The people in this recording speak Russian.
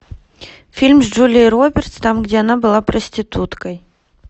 фильм с джулией робертс там где она была проституткой